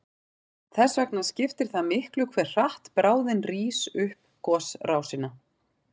Þess vegna skiptir það miklu hve hratt bráðin rís upp gosrásina.